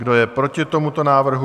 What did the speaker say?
Kdo je proti tomuto návrhu?